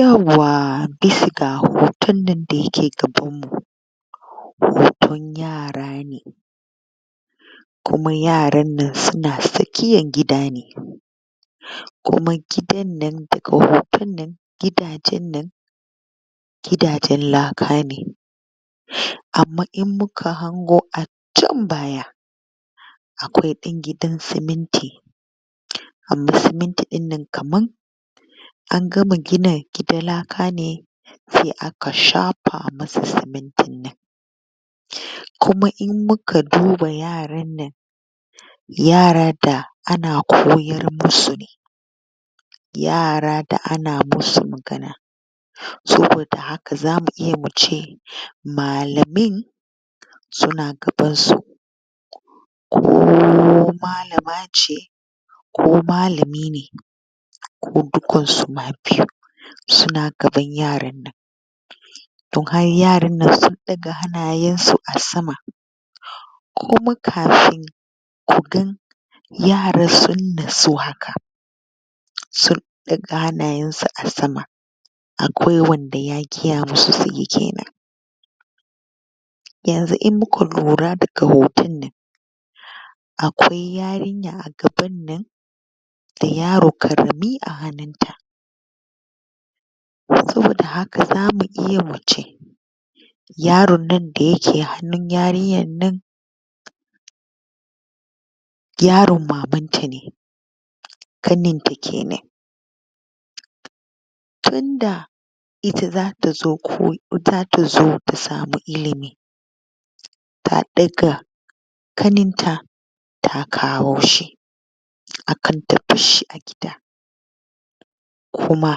Yawwa! Bisa ga hoton nan da ya ke gabanmu hoton yara ne, kuma yaran nan su na tsakiyar gida ne, kuma gidan nan daga hotan nan gidajen nan gidajen laka ne, amma in muka hango a can baya akwai ɗan gidan siminti, amma siminti ɗinnan kaman an gama gina gidan laka ne sai aka shafa ma sa simintin nan, kuma in muka duba yaran nan, yaran da ana koyar ma su ne yara da ana masu magana, saboda haka za mu iya mu ce malamin su na gabansu, ko malama ce ko malami ne ko dukan su ma biyun, su na gaban yaran nan, don har yaran nan su ɗaga hannayensu a sama, kuma kafin ku ga yara su natsu haka sun ɗaga hannayensu a sama akwai wanda ya gaya ma su suyi kenan, yanzu in muka lura daga hotonnan akwai yarinya a gabannan da yaro ƙarami a hannunta, saboda haka za mu iya mu ce yaron nan da ya ke hannun yarinyar nan yaron mamanta ne, ƙanenta kenan tunda ita za ta zo ko ita za ta zo ta samu ilimi ta ɗaga ƙaninta ta kawo shi akan ta barshi a gida, kuma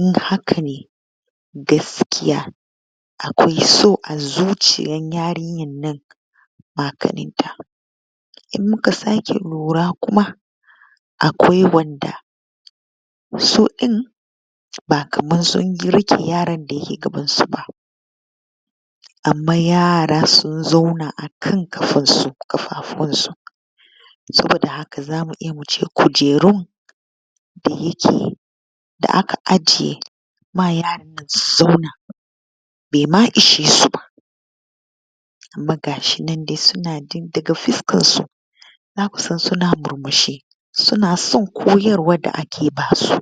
in haka ne gaskiya akwai so a zuciyar yarinyar nan ma ƙaninta, in muka sake lura kuma akwai wanda su ɗin ba kaman sun riƙe yaran da ke gabansu ba, amma yara sun zauna akan ƙafansu akan ƙafafuwansu, saboda haka za mu iya mu ce kujerun da yake da aka ajiye ma yaran nan su zauna baima ishe su ba, amma gashinan dai su na ji daga fuskarsu za ku san su na murmushi su na son kayarwa da ake ma su.